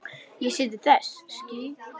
Ég sé til þess.